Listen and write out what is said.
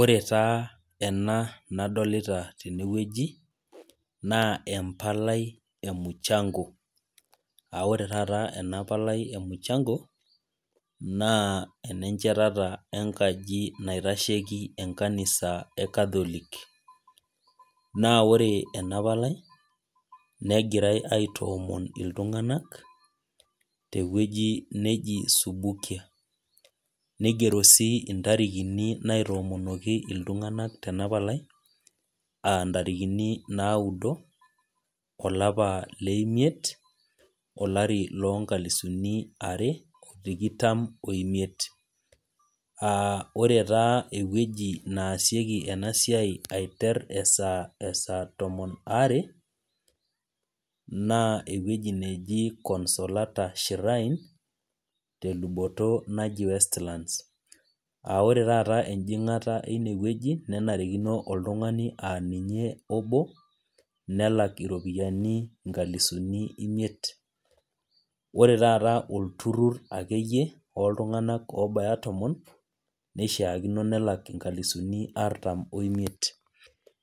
Ore taa ena nadolta tenewueji na embalai emuchango aore taata enapalai emuchango na enechetata enkaji naitashieki kanisa e catholic na ore enapalai negirai aitoomon ltunganak tewoi neji subukia nigero si intarikini naitomonoki ltunganak tenapalai aa ntarikini naado olapa leimit olari lonkalisuni are tikitam omiet aa ore taa ewueji naasieki enasiai aiter e saa tomon aare naa ewueji naji consola ta shryne tenkop naji westlands ore taata enjingata enewueji na nanarikno oltungani aa ninye obo nelaki iropiyiani inkalisuni imiet ore taata olturur akeyie oltunganak obaya tomon niahaakino nelek nkalisuni artan oimiet